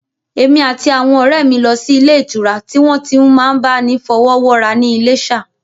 Èmi àti àwọn ọ̀rẹ́ mi lọ sí ilé ìtura tí wọ́n ti n máa bá ni fọwọ́wọ́ra ní Iléṣà